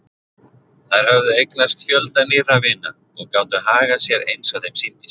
Þær höfðu eignast fjölda nýrra vina og gátu hagað sér eins og þeim sýndist.